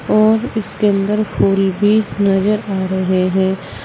और उसके अंदर फुल भी नजर आ रहे हैं।